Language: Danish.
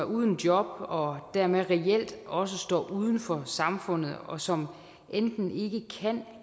uden job og dermed reelt også står uden for samfundet og som enten ikke kan